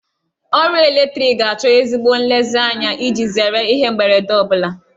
Ọrụ eletriki ga-achọ ezigbo nlezianya iji zere ihe mberede ọ bụla.